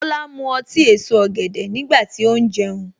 Tola mu ọtí èso ọ̀gẹ̀dẹ̀ nígbà tí ó ń jẹun.